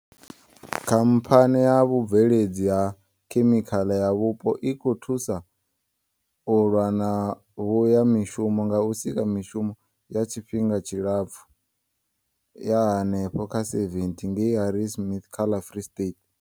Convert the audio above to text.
khamphani ya vhubve ledzi ha khemikhala yapo i khou thusa u lwa na vhushayamishumo nga u sika mishumo ya tshifhinga tshilapfu ya henefha kha 70 ngei Harrismith kha ḽa Free State.